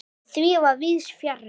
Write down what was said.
En því fer víðs fjarri.